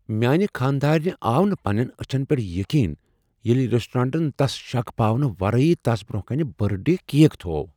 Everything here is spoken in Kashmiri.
میانہ خاندارنہِ آو نہٕ پنٛنین أچھن پیٹھ یقین ییٚلہ ریسٹرانٹن تس شک پاونہٕ ورٲیی تس برونٛہہ کنہ برتھ ڈے کیک تھوو۔